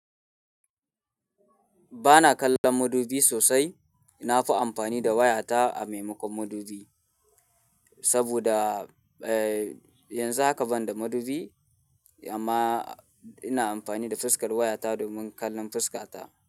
Ba na kallon mudubi sosai. Na fi amfani da wayata a maimakon mudubi. Saboda, eh, yanzu haka ban da mudubi amma ina amfani da fuskar wayata domin kallon fuskata.